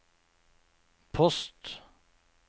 post